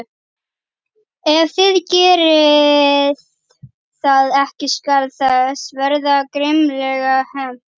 Ef þið gerið það ekki skal þess verða grimmilega hefnt.